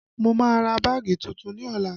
Mo má ra báàgì tuntun ní ọ̀la